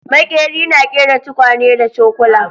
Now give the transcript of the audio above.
Maƙeri na ƙera tukwane da cokula